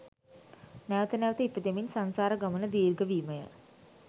නැවත නැවත ඉපදෙමින් සංසාර ගමන දීර්ඝවීමය